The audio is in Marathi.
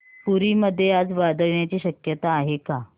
पुरी मध्ये आज वादळ येण्याची शक्यता आहे का